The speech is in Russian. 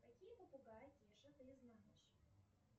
какие попугаи кеша ты знаешь